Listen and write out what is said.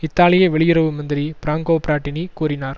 இத்தாலிய வெளியுறவு மந்திரி பிராங்கொ பிராட்டினி கூறினார்